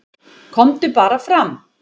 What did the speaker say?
"""KOMDU BARA FRAM,"""